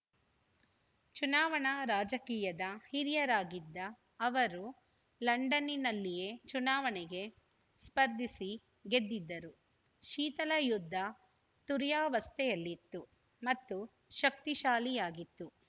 ಚುನಾವಣಾ ರಾಜಕೀಯದ ಹಿರಿಯರಾಗಿದ್ದ ಅವರು ಲಂಡನ್ನಿನಲ್ಲಿಯೇ ಚುನಾವಣೆಗೆ ಸ್ಪರ್ಧಿಸಿ ಗೆದ್ದಿದ್ದರು ಶೀತಲ ಯುದ್ಧ ತುರೀಯಾವಸ್ಥೆಯಲ್ಲಿತ್ತು ಮತ್ತು ಶಕ್ತಿಶಾಲಿಯಾಗಿತ್ತು